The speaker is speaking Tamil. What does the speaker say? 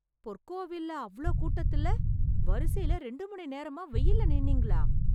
பொற்கோவில்ல அவ்ளோ கூட்டத்துல, வரிசைல ரெண்டு மணி நேரமா வெயில்ல நின்னீங்களா...